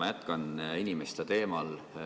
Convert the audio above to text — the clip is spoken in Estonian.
Ma jätkan inimeste teemal.